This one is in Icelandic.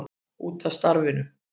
Út af starfinu.